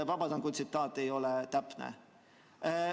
Vabandan, kui tsitaat ei ole täpne.